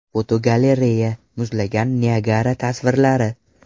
Fotogalereya: Muzlagan Niagara tasvirlari.